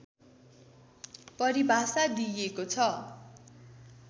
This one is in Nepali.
परिभाषा दिइएको छ